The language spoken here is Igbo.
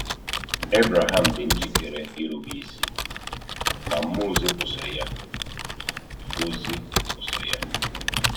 Ebreham dị njikere irube isi, ma mmụọ ozi kwụsịrị ya. ozi kwụsịrị ya.